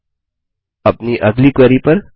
अब अपनी अगली क्वेरी पर